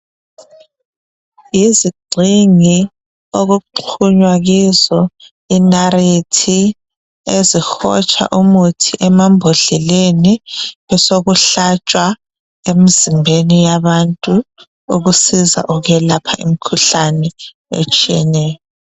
Yizigxingi okuxhunywa kizo inariti, ezihotsha umuthi emambodleleni , besokuhlatshwa emzimbeni yabantu ukusiza ukwelapha imkhuhlane etshiyeneyo.